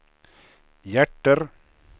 hjärter